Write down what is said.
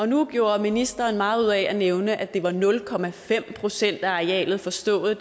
nu gjorde ministeren meget ud af at nævne at det var nul procent af arealet forstået